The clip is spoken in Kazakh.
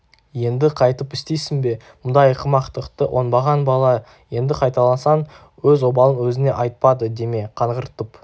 енді қайтып істейсің бе мұндай ақымақтықты оңбаған бала енді қайталасаң өз обалың өзіңе айтпады деме қаңғыртып